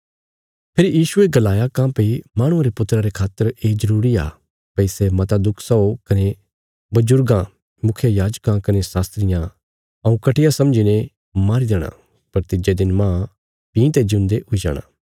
फेरी यीशुये गलाया काँह्भई माहणुये रे पुत्रा रे खातर ये जरूरी आ भई सै मता दुख सओ कने बजुर्गां मुखियायाजकां कने शास्त्रियां हऊँ घटिया समझीने मारी देणा पर तिज्जे दिन मांज भीं ते ज्यून्दे हुई जाणा